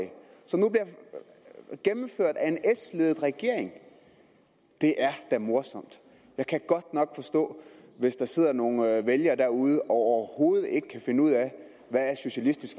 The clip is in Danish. og gennemført af en s ledet regering det er da morsomt jeg kan godt nok forstå hvis der sidder nogle vælgere derude og overhovedet ikke kan finde ud af hvad socialistisk